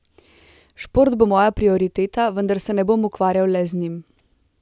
Šport bo moja prioriteta, vendar se ne bom ukvarjal le z njim.